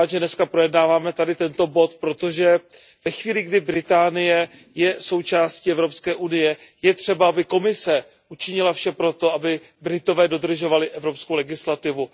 Jsem rád, že dnes projednáváme tento bod, protože ve chvíli, kdy Velká Británie je součástí Evropské unie, je třeba, aby Komise učinila vše pro to, aby Britové dodržovali evropskou legislativu.